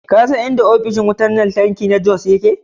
Ka san inda ofishin wutar lantarki na Jos yake?